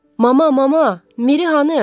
Mama, mama, Miri hanı?